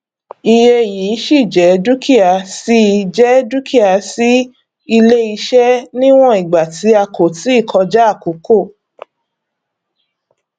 iye yìí ṣíì jẹ dúkìá ṣíì jẹ dúkìá sí iléiṣẹ níwọn ìgbà tí kò tíì kọjá àkókò